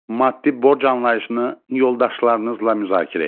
Maddi borc anlayışını yoldaşlarınızla müzakirə edin.